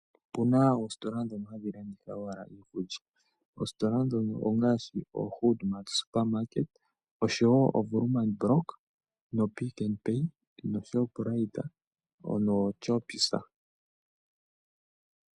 Opu na oositola dhono hadhi landitha wala iikulya, òositola dhono ongaashi HoodMart Supermarket oshowo Woerman block noPick n Pay noshowo Shoprite noChoppies.